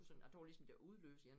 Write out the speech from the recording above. Sådan jeg tror ligesom det udløser en